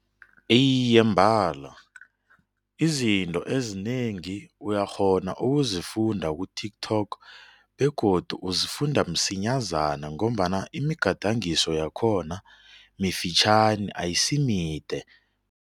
Iye, mbala izinto ezinengi uyakghona ukuzifunda ku-TikTok begodu uzifunda msinyazana ngombana imigadangiso yakhona mifitjhani ayisimide.